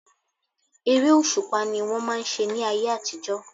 Eré òṣùpá ni wọ́n máà ń ṣe ní ayé àtijọ́.